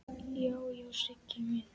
Já, já, Siggi minn.